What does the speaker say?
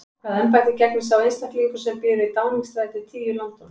Hvaða embætti gegnir sá einstaklingur sem býr við Downingstræti tíu í London?